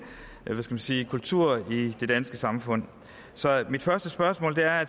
hvad skal man sige kultur i det danske samfund så mit første spørgsmål er